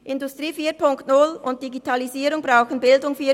Industrie 4.0 und Digitalisierung brauchen Bildung 4.0.